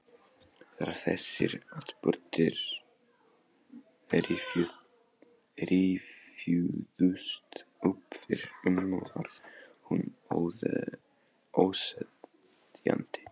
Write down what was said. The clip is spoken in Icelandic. Þegar þessir atburðir rifjuðust upp fyrir ömmu var hún óseðjandi.